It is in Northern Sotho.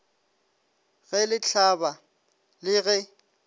ge le hlaba le ge